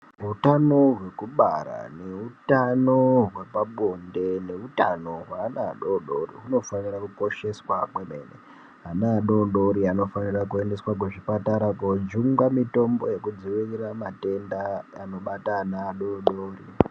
Hutano hwekubara nehutano hwepabonde nehutano hweana adodori hunofana kukosheswa kwemene, ana adodori anofanira kuendeswa kuzvipatara koojungwa mitombo yekudziirira matenda anobata ana adodori.